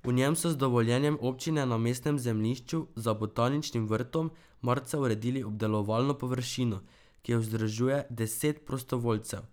V njem so z dovoljenjem občine na mestnem zemljišču za Botaničnim vrtom marca uredili obdelovalno površino, ki jo vzdržuje deset prostovoljcev.